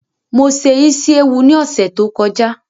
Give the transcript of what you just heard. Mo se Ísíéwu ni ọ̀sẹ̀ tó kọjá